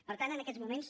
per tant en aquests moments